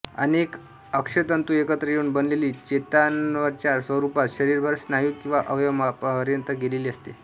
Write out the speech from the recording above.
अनेक अक्षतंतू एकत्र येऊन बनलेली चेतानर्व्हच्या स्वरूपात शरीरभर स्नायू किंवा अवयवापर्यंत गेलेली असते